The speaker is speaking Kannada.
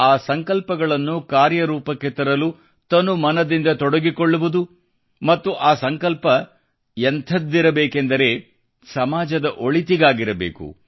ಆ ಸಂಕಲ್ಪಗಳನ್ನು ಕಾರ್ಯರೂಪಕ್ಕೆ ತರಲು ತನುಮನದಿಂದ ತೊಡಗಿಕೊಳ್ಳುವುದು ಮತ್ತು ಆ ಸಂಕಲ್ಪ ಎಂಥದ್ದಿರ ಬೇಕೆಂದರೆ ಸಮಾಜದ ಒಳಿತಿಗಾಗಿರಬೇಕು